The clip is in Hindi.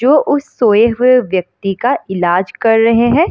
जो उस सोए हुए व्यक्ति का इलाज कर रहे हैं।